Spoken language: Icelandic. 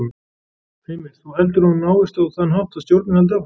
Heimir: Þú heldur að hún náist á þann hátt að stjórnin haldi áfram?